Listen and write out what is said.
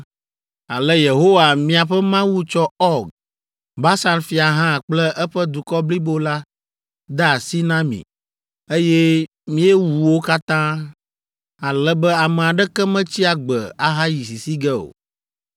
Ale Yehowa miaƒe Mawu tsɔ Ɔg, Basan fia hã kple eƒe dukɔ blibo la de asi na mi, eye míewu wo katã, ale be ame aɖeke metsi agbe ahayi sisi ge o.